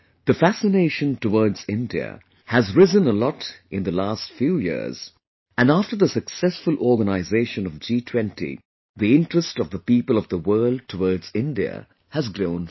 The fascination towards India has risen a lot in the last few years and after the successful organization of G20, the interest of the people of the world towards India has grown further